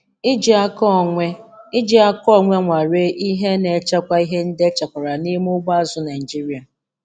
Iji aka onwe Iji aka onwe nwalee ihe na echekwa ihe ndị echekwara n'ime ugbo azụ̀ Naịjiria.